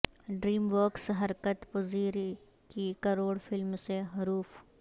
dream works حرکت پذیری کی کروڈ فلم سے حروف